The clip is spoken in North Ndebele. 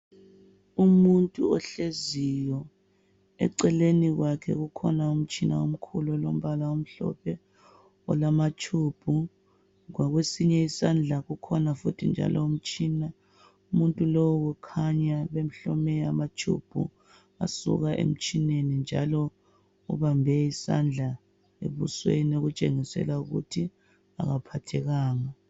Umuntu ohleziyo eceleni kwakhe kukhona umtshina omkhulu olombala omhlophe olamatshubhu .Ngakwesinye isandla kukhona futhi njalo umtshina. Umuntu lowu kukhanya bemhlome amatshubhu asuka emtshineni njalo ubambe isandla ebusweni okutshengisela ukuthi akaphathekanga.